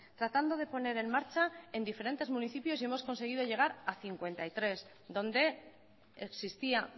tratando de poner en marcha en diferentes municipios y hemos conseguido llegar a cincuenta y tres donde existía